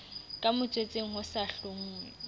ka motswetseng ho sa hlonngwe